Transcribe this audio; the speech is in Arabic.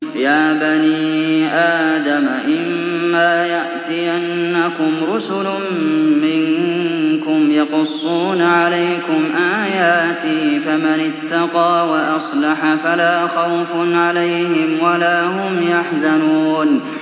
يَا بَنِي آدَمَ إِمَّا يَأْتِيَنَّكُمْ رُسُلٌ مِّنكُمْ يَقُصُّونَ عَلَيْكُمْ آيَاتِي ۙ فَمَنِ اتَّقَىٰ وَأَصْلَحَ فَلَا خَوْفٌ عَلَيْهِمْ وَلَا هُمْ يَحْزَنُونَ